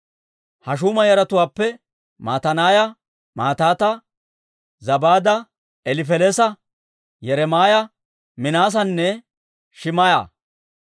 Hashuuma yaratuwaappe Matanaaya, Mataata, Zabaada, Elifelees'a, Yeremaaya, Minaasanne Shim"a.